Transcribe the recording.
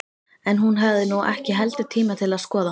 En hún hafði nú ekki heldur tíma til að skoða